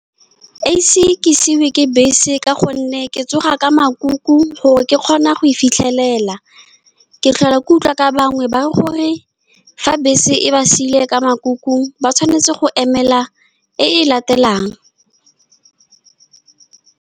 Ga ke ise ke siuoa ke bese, ka gonne ke tsoga ka makuku gore ke kgone go e fitlhelela. Ke tlhola ke utlwa ka bangwe ba re, fa bese e ba siiloe ka makuku, ba tshwanetse go emela e e latelang.